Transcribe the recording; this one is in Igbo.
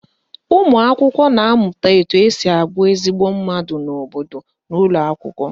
Ụmụakwụkwọ na-amụta etu esi abụ ezigbo mmadụ n'obodo n'ụlọakwụkwọ